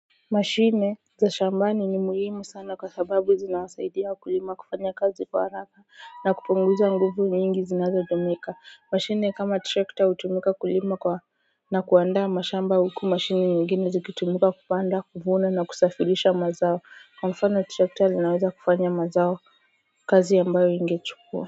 Mashine za shambani ni muhimu sana kwa sababu zinawasaidia wakulima kufanya kazi kwa haraka na kupunguza nguvu nyingi zinazotumika. Mashine kama tractor hutumika kulima na kuaanda mashamba huku mashine nyingine zikitumika kupanda kuvuna na kusafirisha mazao. Kwa mfano tractor linaweza kufanya mazao kazi ambayo ingechukua.